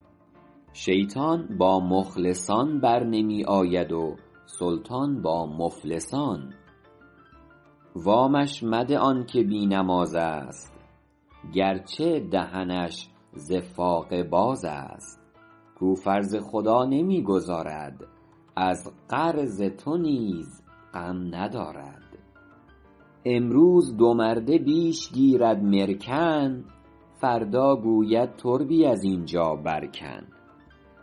شیطان با مخلصان برنمی آید و سلطان با مفلسان وامش مده آن که بی نماز است گرچه دهنش ز فاقه باز است کاو فرض خدا نمی گزارد از قرض تو نیز غم ندارد امروز دو مرده بیش گیرد مرکن فردا گوید تربی از اینجا بر کن